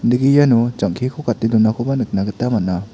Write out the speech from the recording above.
jang·keko gate donakoba iano nikna gita man·a.